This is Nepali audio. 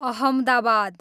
अहमदाबाद